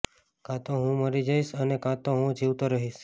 કાં તો હું મરી જઈશ અને કાં તો હું જીવતો રહીશ